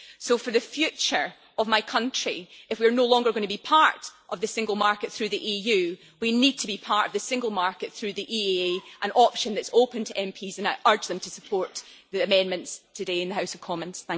So for the future of my country, if we are no longer going to be part of the single market through the EU, we need to be part of the single market through the EEA, an option that is open to MPs. I urge them to support the amendments today in the House of Commons.